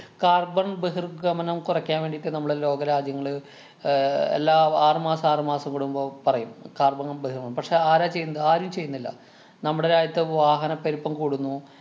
carbon ബഹിര്‍ഗമനം കുറയ്ക്കാന്‍ വേണ്ടീട്ട് നമ്മള് ലോകരാജ്യങ്ങള് ഏർ എല്ലാ ആറുമാസം ആറുമാസം കൂടുമ്പൊ പറയും carbon ങ്ങം ബഹിര്‍ഗമം. പക്ഷേ, ആരാ ചെയ്യുന്നത്? ആരും ചെയ്യുന്നില്ല. നമ്മുടെ രാജ്യത്തെ വാഹന പെരുപ്പം കൂടുന്നു